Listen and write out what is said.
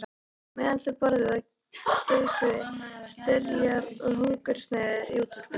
Á meðan þau borðuðu geisuðu styrjaldir og hungursneyðir í útvarpinu.